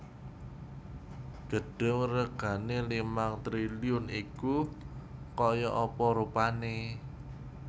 Gedung regane limang triliun iku koyok apa rupane